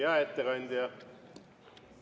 Hea ettekandja!